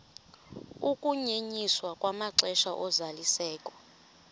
ukunyenyiswa kwamaxesha ozalisekiso